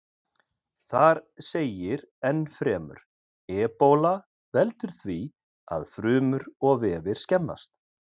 Þar segir ennfremur: Ebóla veldur því að frumur og vefir skemmast.